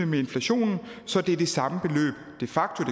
med inflationen så det er det samme beløb de facto